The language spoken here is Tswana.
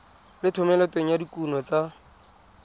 le thomeloteng ya dikuno tsa